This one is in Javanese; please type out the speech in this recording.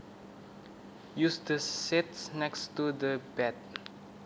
Use the sheets next to the bed